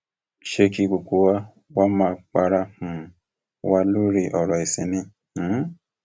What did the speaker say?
ṣé kí gbogbo wa wáá máa para um wa lórí ọrọ ẹsìn ni um